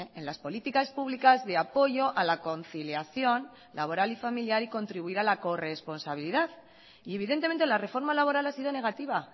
en las políticas públicas de apoyo a la conciliación laboral y familiar y contribuir a la corresponsabilidad y evidentemente la reforma laboral ha sido negativa